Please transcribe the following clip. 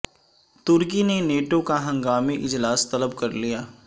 ترکی نے نیٹو کا ہنگامی اجلاس طلب کر لیا